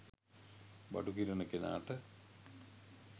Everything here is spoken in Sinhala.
බඩු කිරන කෙනාට